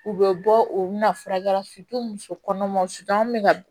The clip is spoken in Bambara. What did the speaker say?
U bɛ bɔ u bɛ na furakɛli muso kɔnɔmaw bɛ ka